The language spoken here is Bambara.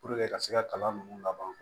ka se ka kalan nunnu laban